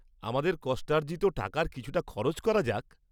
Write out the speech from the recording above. আমাদের কষ্টার্জিত টাকার কিছুটা খরচ করা যাক।